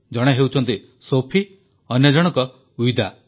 ଜଣେ ହେଉଛନ୍ତି ସୋଫି ଓ ଅନ୍ୟ ଜଣକ ୱିଦା